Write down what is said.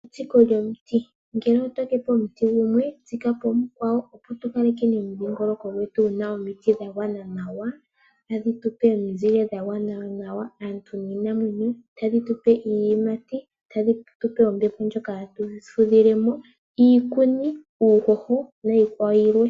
Etsiko lyomiti. Ngele oto tetepo omuti gumwe, tsika po omukwawo opo tu kalekeni omudhingoloko gwetu guna omiti dha gwana nawa. Ta dhi tu pe omizile dha gwana nawa, aantu niinamwenyo, tadhi tu pe iiyimati, ta dhi tupe ombepo djoka hatu fudhilemo, iikuni, uuhoho nayikwawo yilwe.